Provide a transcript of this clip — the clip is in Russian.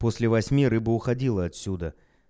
после восьми рыба уходила отсюда